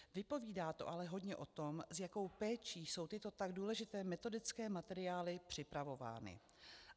Vypovídá to ale hodně o tom, s jakou péčí jsou tyto tak důležité metodické materiály připravovány.